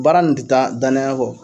Baara nin tɛ taa danaya kɔ